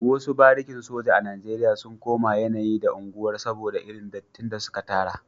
Wasu barikin sojoji a Najeriya sun koma yanayi da unguwar soboda irin dattin da suka tara